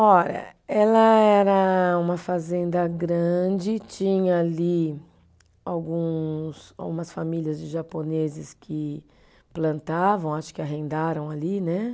Ó eh, ela era uma fazenda grande, tinha ali alguns, algumas famílias de japoneses que plantavam, acho que arrendaram ali, né?